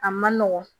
A man nɔgɔn